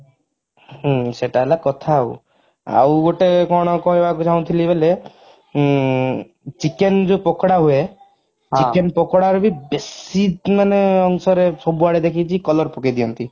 ହୁଁ ସେଟା ହେଲା କଥା ଆଉ ଆଉ ଗୋଟେ କଥା କଣ କହିବାକୁ ଚାହୁଁଥିଲି ବେଲେ ଉଁ chicken ଯୋ ପକୋଡା ହୁଏ chicken ପକୋଡାରେ ବି ବେଶି ମାନେ ଅଂଶରେ ସବୁଆଡେ ଦେଖିଛି color ପକେଇଦିଅନ୍ତି